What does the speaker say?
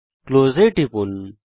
close এ টিপুন